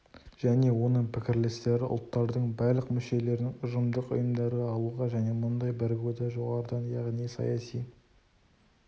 және оның пікірлестері ұлттардың барлық мүшелерін ұжымдық ұйымдарға алуға және мұндай бірігуді жоғарыдан яғни саяси